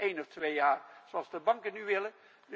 Dat doe je niet één of twee jaar, zoals de banken nu willen.